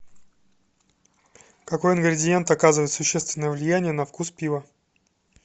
какой ингредиент оказывает существенное влияние на вкус пива